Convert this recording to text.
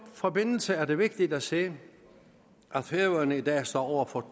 forbindelse er det vigtigt at sige at færøerne i dag står over for